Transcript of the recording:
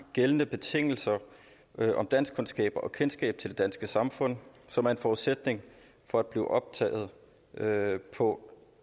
gældende betingelser om danskkundskaber og kendskab til det danske samfund som er en forudsætning for at blive optaget på